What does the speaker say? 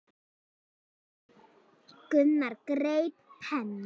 Gunnar greip penna.